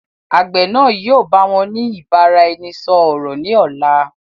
Àgbẹ̀ náà yìi ó báwọn ni ìbáraẹnisọọ̀rọ̀ ni ọ̀la.